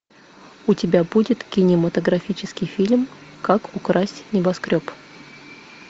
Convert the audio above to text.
у тебя будет кинематографический фильм как украсть небоскреб